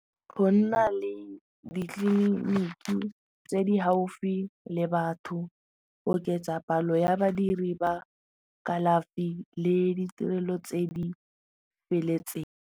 Go nna le ditleliniki tse di gaufi le batho go oketsa palo ya badiri ba kalafi le ditirelo tse di feletseng.